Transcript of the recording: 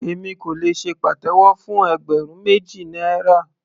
Èmi kò lè ṣe pàtẹ́wọ́ fún ẹgbẹ̀rún méjì náírà.